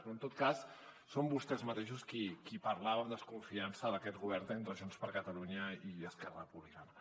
però en tot cas són vostès mateixos qui parlaven amb desconfiança d’aquest govern entre junts per catalunya i esquerra republicana